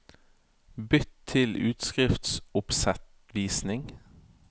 Bytt til utskriftsoppsettvisning